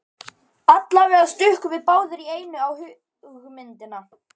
Allavega stukkum við báðir í einu á hugmyndina.